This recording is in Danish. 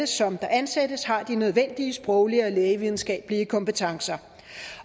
som der ansættes har de nødvendige sproglige og lægevidenskabelige kompetencer